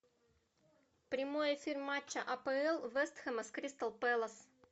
прямой эфир матча апл вест хэма с кристал пэлас